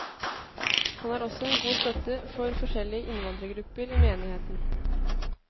Han er også en god støtte for forskjellige innvandrergrupper i menigheten.